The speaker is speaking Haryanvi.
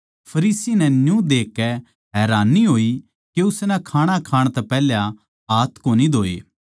फरीसी नै न्यू देखकै हैरानी होई के उसनै खाणा खाण तै पैहल्या हाथ कोनी धोए